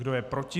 Kdo je proti?